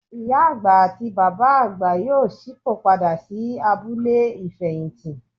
Ìyá àgbà àti Bàbá àgbà yóò ṣípò padà sí abúlé ìfẹ̀yìntì.